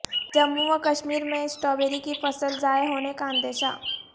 جموں و کشمیر میں اسٹرابیری کی فصل ضائع ہونے کا اندیشہ